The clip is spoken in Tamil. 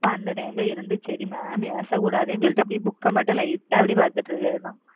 அப்ப அந்த time ல இருந்து சரி mam ஏசக்கூடாதுன்னு சொல்லிட்டு அப்படியே book ஐ மட்டும் light ஆ அப்படியே பார்த்துட்டு இருக்கிறதுதான்.